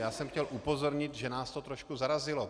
Já jsem chtěl upozornit, že nás to trošku zarazilo.